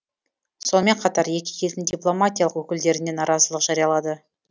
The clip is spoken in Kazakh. сонымен қатар екі елдің дипломатиялық өкілдеріне наразылық жариялады